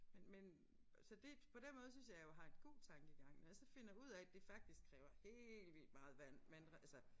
Men men så det på den måde synes jeg jo jeg har en god tankegang når jeg så finder ud af det faktisk kræver helt vildt meget vand men altså